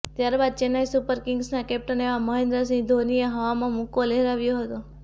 ત્યારબાદ ચેન્નઈ સુપર કિંગ્સના કેપ્ટન એવા મહેન્દ્ર સિંહ ધોનીએ હવામાં મુક્કો લહેરાવ્યો હતો